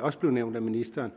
også blev nævnt af ministeren